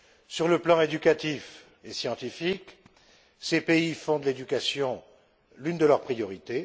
Sur le plan éducatif et scientifique, ces pays font de l'éducation l'une de leurs priorités.